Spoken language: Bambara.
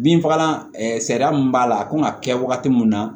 Binfagalan sariya mun b'a la a kan ka kɛ wagati min na